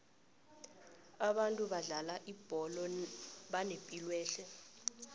abantu abadlala ibholo banepilwehle